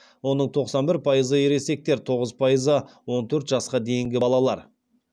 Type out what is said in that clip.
оның тоқсан бір пайызы ересектер тоғыз пайызы он төрт жасқа дейінгі балалар